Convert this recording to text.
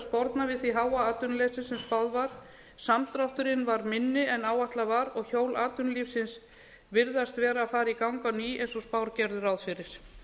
sporna við því háa atvinnuleysi sem spáð var samdrátturinn varð minni en áætlað varð og hjól atvinnulífsins virðast vera að fara í gang á ný eins og spár gerðu ráð fyrir